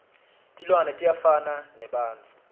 tilwane tiyafana nebantfu